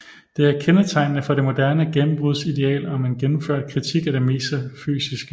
Det er kendetegnende for det moderne gennembruds ideal om en gennemført kritik af det metafysiske